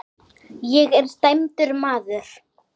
Ég er dæmdur maður.